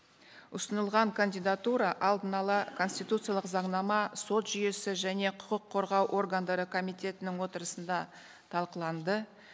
ұсынылған кандидатура алдын ала конституциялық заңнама сот жүйесі және құқық қорғау органдары комитетінің отырысында талқыланды